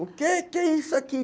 O que é que é isso aqui?